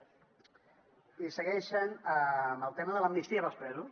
i segueixen amb el tema de l’amnistia dels presos